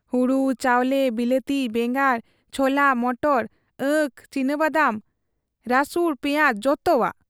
ᱦᱩᱲᱩ ᱪᱟᱣᱞᱮ, ᱵᱤᱞᱟᱹᱛᱤ ᱵᱮᱸᱜᱟᱲ, ᱪᱷᱚᱞᱟ ᱢᱚᱴᱚᱨ, ᱟᱹᱠ, ᱪᱤᱱᱤᱵᱚᱫᱟᱢ, ᱨᱟᱹᱥᱩᱬ, ᱯᱮᱭᱟᱸᱡᱽ ᱡᱚᱛᱚᱣᱟᱜ ᱾